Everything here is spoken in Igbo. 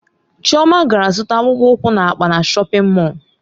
Chioma gara zụta akpụkpọ ụkwụ na akpa na shọpin Mọll.